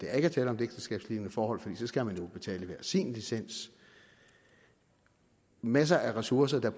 er tale om et ægteskabslignende forhold for så skal man betale hver sin licens masser af ressourcer der